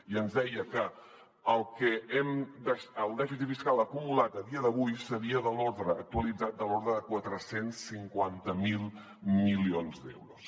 i ens deia que el dèficit fiscal acumulat a dia d’avui seria de l’ordre actualitzat de quatre cents i cinquanta miler milions d’euros